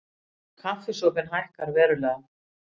Kaffisopinn hækkar verulega